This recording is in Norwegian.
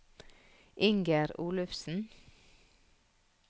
Inger Olufsen